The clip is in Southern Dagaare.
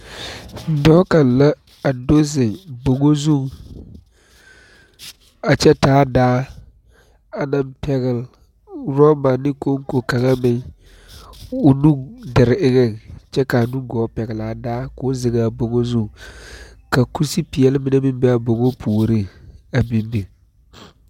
Dɔɔ kaŋ la a do zeŋ bonŋo zuiŋ a kyɛ taa daa a naŋ pɛgle rɔba ne koŋko kaŋa meŋ o nu dure eŋɛŋ kyɛ kaa nugɔɔ pɛglaa daa koo zeŋaa bnŋo zuŋ ka kusepeɛɛle mine meŋ bee aa bonŋo puoriŋ be biŋ biŋ.